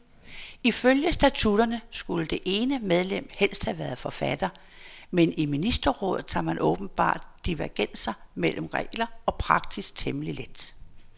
Ifølge statutterne skulle det ene medlem helst have været forfatter, men i ministerrådet tager man åbenbart divergenser mellem regler og praksis temmelig let.